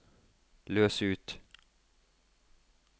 løs ut